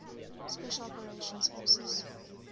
special operations forces